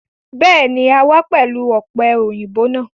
Béèni, a wá pẹ̀lú ọ̀pẹ-òyìnbó náà